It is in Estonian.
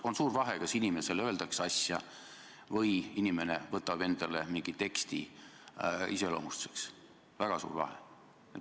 On suur vahe, kas inimese kohta öeldakse midagi või inimene peab mingit teksti enda iseloomustuseks, väga suur vahe.